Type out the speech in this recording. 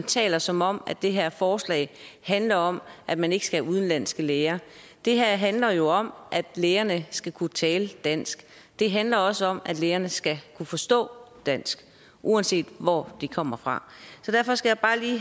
taler som om det her forslag handler om at man ikke skal være udenlandske læger det her handler jo om at lægerne skal kunne tale dansk det handler også om at lægerne skal kunne forstå dansk uanset hvor de kommer fra så derfor skal